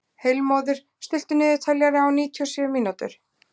Heilmóður, stilltu niðurteljara á níutíu og sjö mínútur.